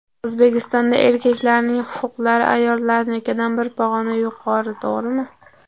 O‘zbekistonda erkaklarning huquqlari ayollarnikidan bir pog‘ona yuqori, to‘g‘rimi?